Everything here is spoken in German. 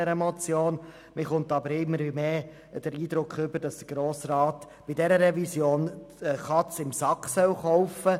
Man erhält aber immer mehr den Eindruck, der Grosse Rat solle bei dieser Revision die Katze im Sack kaufen;